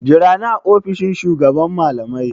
Jira ni a ofishin shugaban malamai!